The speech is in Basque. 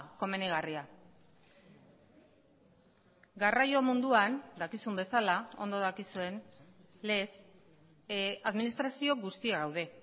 komenigarria garraio munduan dakizun bezala ondo dakizuen lez administrazio guztia gaude